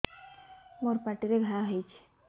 ମୋର ପାଟିରେ ଘା ହେଇଚି